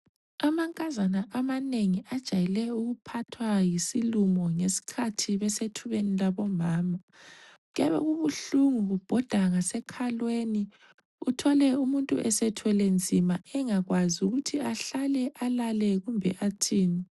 Amankazana amanengi ajayele ukuphathwa yisilumo ngesikhathi besethubeni labomama. Kuyabe kubuhlungu kubhoda ngasekhalweni uthole umuntu esethwele nzima engakwazi ukuthi ahlale, alale kumbe athini.